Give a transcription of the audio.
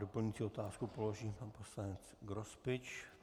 Doplňující otázku položí pan poslanec Grospič.